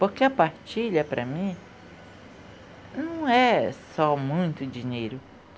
Porque a partilha, para mim, não é só muito dinheiro.